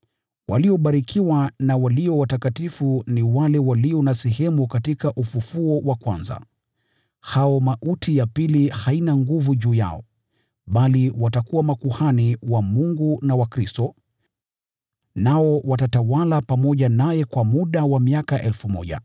Waliobarikiwa na walio watakatifu ni wale walio na sehemu katika ufufuo wa kwanza. Hao mauti ya pili haina nguvu juu yao, bali watakuwa makuhani wa Mungu na wa Kristo, nao watatawala pamoja naye kwa muda wa miaka 1,000.